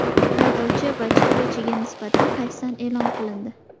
Haydovchi va chiptachiga nisbatan hayfsan e’lon qilindi.